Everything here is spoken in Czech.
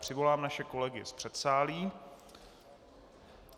Přivolám naše kolegy z předsálí.